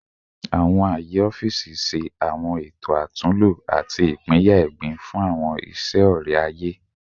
Awọn aaye ọfiisi ṣe awọn eto atunlo ati ipinya egbin fun awọn iṣe ọrẹ-aye